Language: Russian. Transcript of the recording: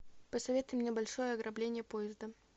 посоветуй мне большое ограбление поезда